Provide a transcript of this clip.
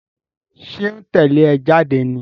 Ṣó ń tẹ́lẹ̀ ẹ jáde ní?